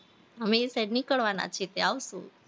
અમે એ side નીકળવાના જ છીએ તયી આવશું